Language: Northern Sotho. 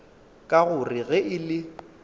ka gore ge e le